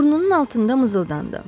Burnunun altında mızıldandı.